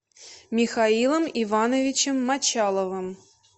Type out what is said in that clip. михаилом ивановичем мочаловым